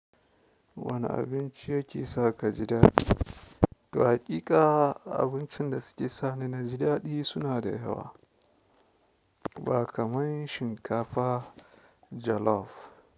Wane abinci yake sa ka ji daɗi? To hakika abincin da suke sani na ji daɗi suna da yawa, ba kamar shinkafa jolof.